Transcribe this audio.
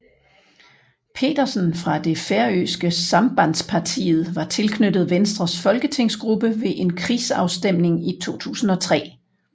Petersen fra det færøske Sambandspartiet var tilknyttet Venstres folketingsgruppe ved en krigsafstemning i 2003